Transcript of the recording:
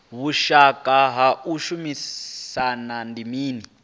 vhushaka ha u shumisana ndi mini